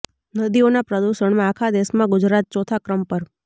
નદીઓના પ્રદૂષણમાં આખા દેશમાં ગુજરાત ચોથા ક્રમ પર